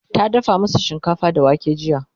ta dafa masu shinkafa da wake jiya